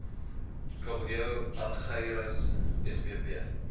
kabeljou argyrosomus spp